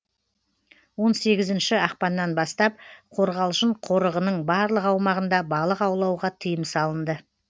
он сегізінші ақпаннан бастап қорғалжын қорығының барлық аумағында балық аулауға тыйым салынды